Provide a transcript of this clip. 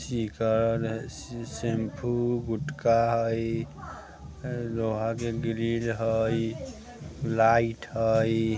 शिखर shampoo गुटखा हई लोहा के ग्रिल हई लाइट हई।